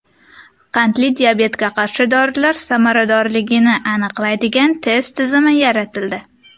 Qandli diabetga qarshi dorilar samaradorligini aniqlaydigan test tizimi yaratildi.